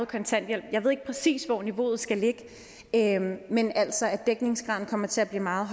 kontanthjælpen jeg ved ikke præcis hvor niveauet skal ligge men altså at dækningsgraden kommer til at blive meget